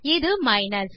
இது மைனஸ்